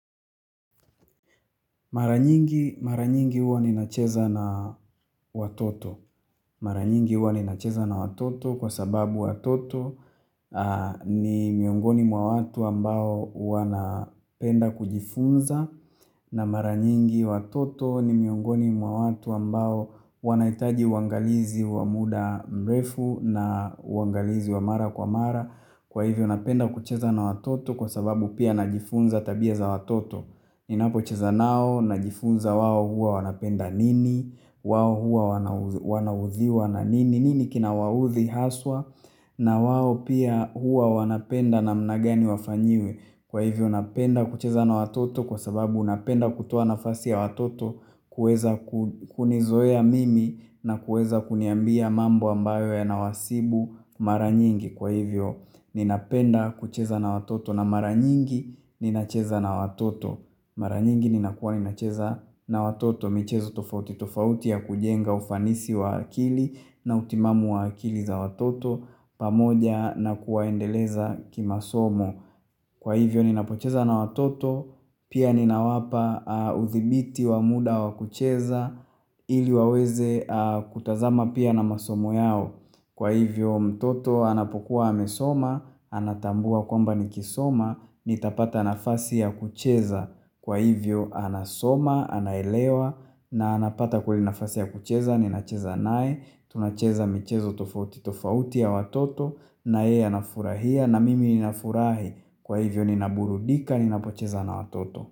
Mara nyingi mara nyingi huwa ninacheza na watoto. Mara nyingi huwa ninacheza na watoto kwa sababu watoto ni miongoni mwa watu ambao wanapenda kujifunza na mara nyingi watoto ni miongoni mwa watu ambao wanahitaji uangalizi wa muda mrefu na uangalizi wa mara kwa mara kwa hivyo napenda kucheza na watoto kwa sababu pia najifunza tabia za watoto. Ninapocheza nao najifunza wao huwa wanapenda nini, wao hua wanaudhiwa na nini, nini kina waudhi haswa, na wao pia hua wanapenda namna gani wafanyiwe, kwa hivyo napenda kucheza na watoto kwa sababu napenda kutoa nafasi ya watoto kuweza kunizoea mimi na kuweza kuniambia mambo ambayo yanawasibu mara nyingi, kwa hivyo ninapenda kucheza na watoto na mara nyingi ninacheza na watoto. Mara nyingi ninakuwa ninacheza na watoto michezo tofauti tofauti ya kujenga ufanisi wa akili na utimamu wa akili za watoto pamoja na kuwaendeleza kimasomo. Kwa hivyo ninapocheza na watoto pia ninawapa udhibiti wa muda wa kucheza ili waweze kutazama pia na masomo yao. Kwa hivyo mtoto anapokuwa amesoma, anatambua kwamba nikisoma, nitapata nafasi ya kucheza. Kwa hivyo anasoma, anaelewa, na anapata kwa hivyo nafasi ya kucheza, ninacheza naye, tunacheza michezo tofauti tofauti ya watoto, na yeye anafurahia, na mimi ninafurahi. Kwa hivyo ninaburudika, ninapocheza na watoto.